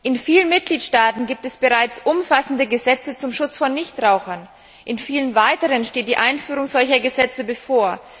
In vielen Mitgliedstaaten gibt es bereits umfassende Gesetze zum Schutz von Nichtrauchern, und in anderen steht die Einführung solcher Gesetze bevor.